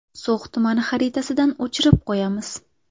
So‘x tumani xaritasidan o‘chirib qo‘yamiz.